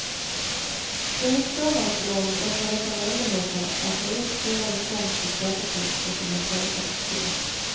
För just fåmansbolagen öppnar detta möjligheter att ta ut stora inkomster skattefritt ur sina företag. punkt